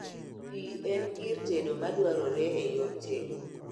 Pii en gir tedo madwarore e yor tedo